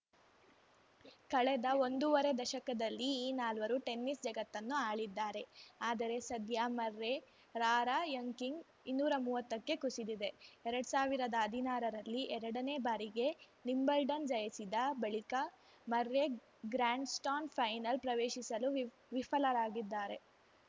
ಕಳೆದ ಒಂದೂವರೆ ದಶಕದಲ್ಲಿ ಈ ನಾಲ್ವರು ಟೆನಿಸ್‌ ಜಗತ್ತನ್ನು ಆಳಿದ್ದಾರೆ ಆದರೆ ಸದ್ಯ ಮರ್ರೆ ರಾರ‍ಯಂಕಿಂಗ್‌ ಇನ್ನೂರಾ ಮೂವತ್ತಕ್ಕೆ ಕುಸಿದಿದೆ ಎರಡ್ ಸಾವಿರ್ದಾ ಹದಿನಾರರಲ್ಲಿ ಎರಡನೇ ಬಾರಿಗೆ ವಿಂಬಲ್ಡನ್‌ ಜಯಿಸಿದ ಬಳಿಕ ಮರ್ರೆ ಗ್ರ್ಯಾಂಡ್‌ಸ್ಟಾನ್ ಫೈನಲ್‌ ಪ್ರವೇಶಿಸಲು ವಿಪ್ ವಿಫಲರಾಗಿದ್ದಾರೆ